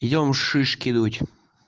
идём шишки дуть